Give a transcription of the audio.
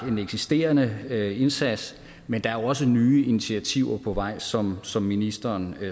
en eksisterende indsats men der er også nye initiativer på vej som som ministeren